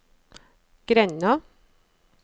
grenda